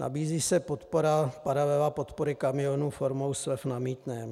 Nabízí se paralela podpory kamionů formou slev na mýtném.